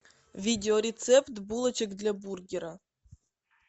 видео рецепт булочек для бургера